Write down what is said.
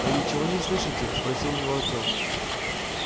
вы ничего не слышите спросил у него артём